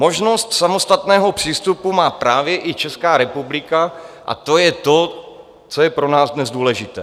Možnost samostatného přístupu má právě i Česká republika, a to je to, co je pro nás dnes důležité.